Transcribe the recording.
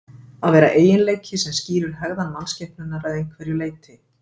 að vera eiginleiki sem skýrir hegðan mannskepnunnar að einhverju leyti